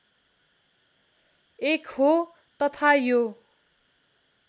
एक हो तथा यो